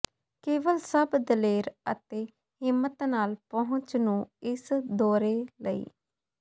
ਕੇਵਲ ਸਭ ਦਲੇਰ ਅਤੇ ਹਿੰਮਤ ਨਾਲ ਪਹੁੰਚ ਨੂੰ ਇਸ ਦੌਰੇ ਲਈ